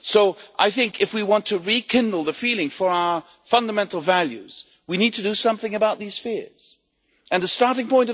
So I think that, if we want to rekindle the feeling for our fundamental values, we need to do something about these fears, and the Commission's starting point